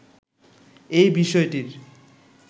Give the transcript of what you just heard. এই বিষয়টির